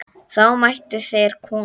Þá mættu þeir koma.